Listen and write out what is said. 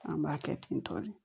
An b'a kɛ ten tɔ de